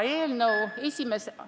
Kolm minutit lisaks palun!